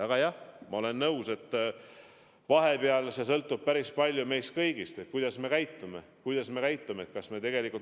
Aga jah, ma olen nõus, et vahepeal sõltub päris palju meist kõigist, sellest, kuidas me käitume.